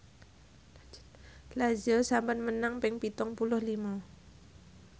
Lazio sampun menang ping pitung puluh lima